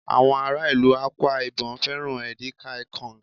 àwọn ará ìlú Akwa ibom fẹràn edikaikaong